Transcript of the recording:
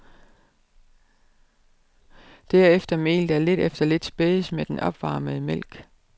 Derefter mel, der lidt efter lidt spædes med den opvarmede mælk.